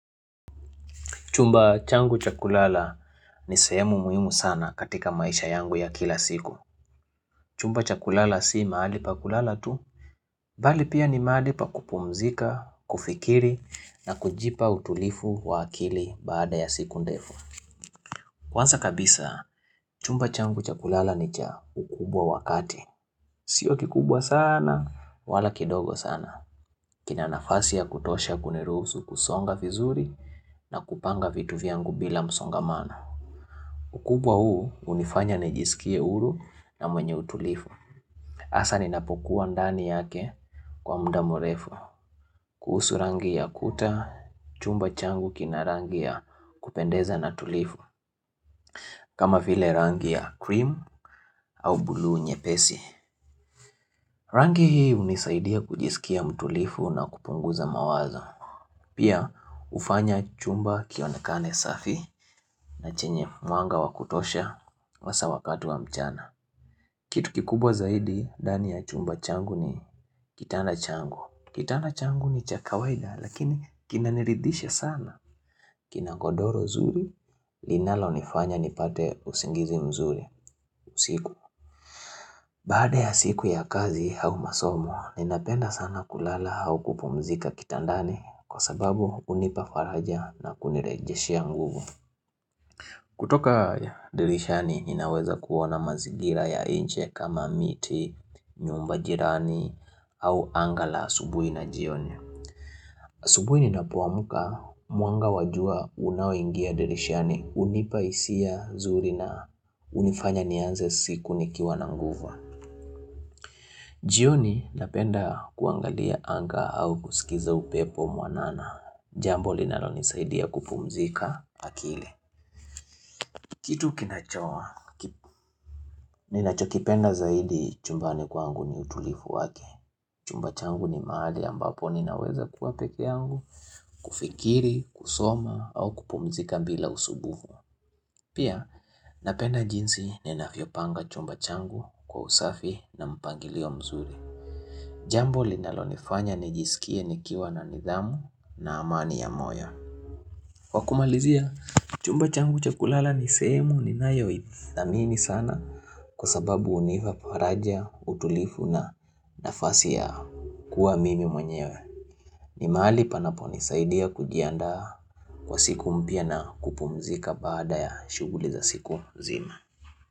Chumba changu cha kulala ni sehemu muhimu sana katika maisha yangu ya kila siku. Chumba cha kulala si mahali pa kulala tu. Bali pia ni mahali pa kupumzika, kufikiri na kujipa utulivu wa akili baada ya siku ndefu. Kwanza kabisa, chumba changu cha kulala ni cha ukubwa wakati. Sio kikubwa sana, wala kidogo sana. Kina nafasi ya kutosha kuniruhusu kusonga vizuri na kupanga vitu vyangu bila msongamana. Ukubwa huu hunifanya najisikie huru na mwenye utulivu. Hasa ninapokuwa ndani yake kwa muda mrefu. Kuhusu rangi ya kuta, chumba changu kina rangi ya kupendeza na tulivu. Kama vile rangi ya cream au buluu nyepesi. Rangi hii hunisaidia kujisikia mtulivu na kupunguza mawazo. Pia hufanya chumba kionekane safi na chenye mwanga wa kutosha hasa wakati wa mchana. Kitu kikubwa zaidi, ndani ya chumba changu ni kitanda changu. Kitanda changu ni cha kawaida lakini kinaniridhisha sana. Kina godhoro zuri, linalonifanya nipate usingizi mzuri usiku. Baada ya siku ya kazi au masomo, ninapenda sana kulala au kupumzika kitandani kwa sababu hunipa faraja na kunirejeshia nguvu. Kutoka dirishani, ninaweza kuona mazingira ya nje kama miti, nyumba jirani au anga la asubuhi na jioni. Asubuhi ninapoamka, mwanga wa jua unaoingia dirishani hunipa hisia nzuri na hunifanya nianze siku nikiwa na nguvu. Jioni napenda kuangalia anga au kusikiza upepo mwanana, jambo linalonisaidia kupumzika akili. Kitu ninachokipenda zaidi chumbani kwangu ni utulivu wake. Chumba changu ni mahali ambapo ninaweza kuwa pekeangu, kufikiri, kusoma au kupumzika bila usumbufu. Pia napenda jinsi ninavyopanga chumba changu kwa usafi na mpangilio mzuri. Jambo linalonifanya nijisikie nikiwa na nidhamu na amani ya moyo. Kwa kumalizia, chumba changu cha kulala ni sehemu ninayoithamini sana Kwa sababu hunipa faraja, utulivu na nafasi ya kuwa mimi mwenyewe ni mahali panaponisaidia kujiandaa kwa siku mpya na kupumzika baada ya shuguli za siku zima.